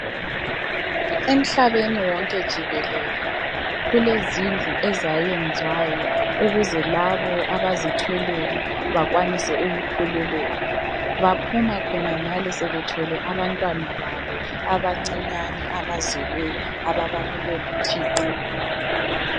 Emhlabeni wonke jikelele. Kulezindlu ezayenziwayo, ukuze labo abazithweleyo, bakwanise ukukhululeka. Baphuma khona ngale sebethwele abantwana babo abancinyane. Abazelweyo, ababanikwe nguThixo.